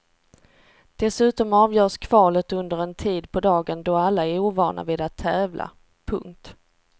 Dessutom avgörs kvalet under en tid på dagen då alla är ovana vid att tävla. punkt